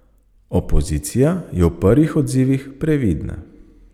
Opozicija je v prvih odzivih previdna.